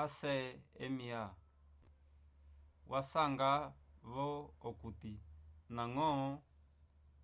acma wasanga-vo okuti ndañgo